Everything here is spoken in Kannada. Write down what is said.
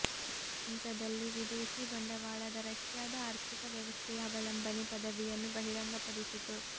ಈ ಹಂತದಲ್ಲಿ ವಿದೇಶಿ ಬಂಡವಾಳದ ರಷ್ಯಾದ ಆರ್ಥಿಕ ವ್ಯವಸ್ಥೆಯ ಅವಲಂಬನೆ ಪದವಿಯನ್ನು ಬಹಿರಂಗಪಡಿಸಿತು